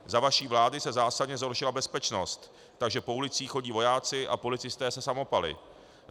Za vaší vlády se zásadně zhoršila bezpečnost, takže po ulicích chodí vojáci a policisté se samopaly.